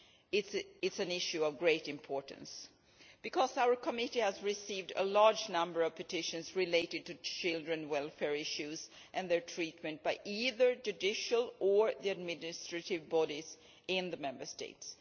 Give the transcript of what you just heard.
It is an issue of great importance because our committee has received a large number of petitions related to children's welfare issues and their treatment by either judicial or administrative bodies in the Member States.